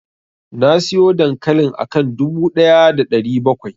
Nasiyo dankalin akan dubu ɗaya da ɗari bakwai.